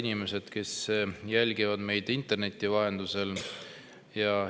Head inimesed, kes jälgivad meid interneti vahendusel!